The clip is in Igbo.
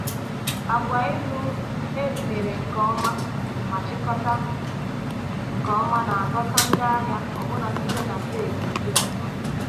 Agwa iru e mere nke ọma ma chịkọta nke ọma na-adọta ndị ahịa ọbụna site na steeti ndị ọzọ.